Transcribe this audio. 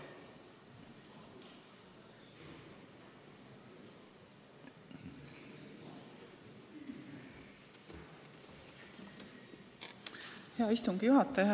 Hea istungi juhataja!